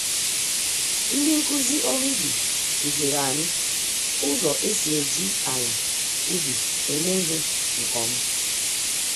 Ndị nkụzi ọrụ ubi kuziri anyị ụzọ esi eji àlà-ubi eme ìhè nke ọma.